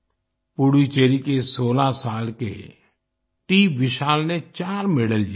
पुडुचेरी के 16 साल के टीविशाल ने चार मेडल जीते